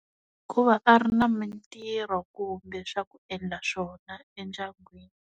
Hikuva ka ri na mintirho kumbe swa ku endla swona endyangwini.